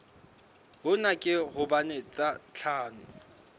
hona ke hobane tsa tlhaho